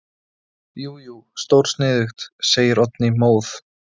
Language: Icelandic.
Jú jú, stórsniðugt, segir Oddný móð.